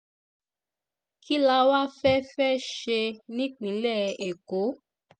kí la wáá fẹ́ fẹ́ ṣe nípínlẹ̀ èkó